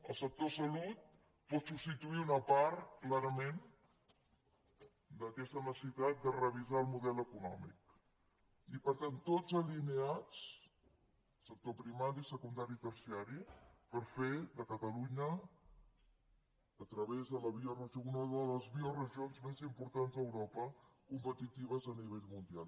el sector salut pot substituir una part clarament d’aquesta necessitat de revisar el model econòmic i per tant tots alineats sector primari secundari i terciari per fer de catalunya a través de la bioregió una de les bioregions més importants d’europa competitives a nivell mundial